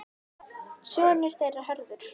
Sonur þeirra Hörður.